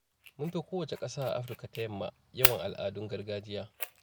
Mun fi kowace ƙasa a Afirka ta yamma yawan al'adun gargajiya.